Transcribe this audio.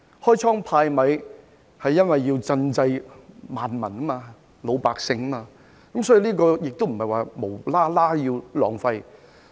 開倉派米是要賑濟萬民、老百姓，這不是無故浪費金錢。